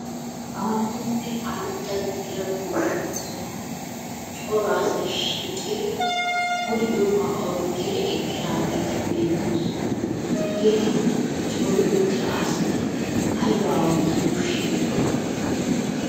Aahonne aradda gidida goshsha sohuwan cora asay shiiqidi bul"iyooba oyqqidi eqqiraageeti beettoosona. Hegeti cori uttira asati aybba oottanaw shiiqirona?